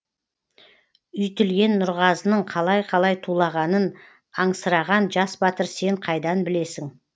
үйтілген нұрғазының қалай қалай тулағанын аңсыраған жас батыр сен қайдан білесің